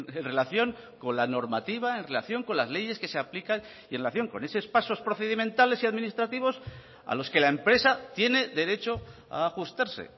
en relación con la normativa en relación con las leyes que se aplican y en relación con esos pasos procedimentales y administrativos a los que la empresa tiene derecho a ajustarse